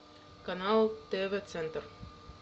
канал тв центр